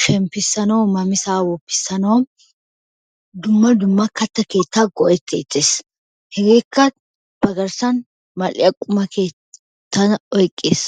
shemppissnaw namissay woppissanaw dumma dumma kattaa keetta go''etettees. hegekka ba garssan mal''iyaa qumata oyqqees.